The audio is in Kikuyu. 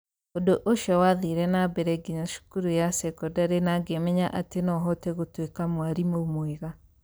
Ũndũ ũcio wathire na mbere nginya cukuru ya sekondarĩ na ngĩmenya atĩ no hote gũtuĩka mwarimũ mwega.